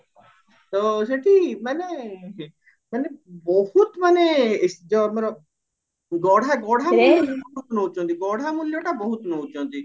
ତ ସେଠି ମାନେ ମାନେ ବହୁତ ମାନେ ଯୋଉ ଆମର ଗଢା ଗଢା ମୂଲ୍ୟ ନଉଚନ୍ତି ଗଢା ମୂଲ୍ୟ ଟା ବହୁତ ନଉଚନ୍ତି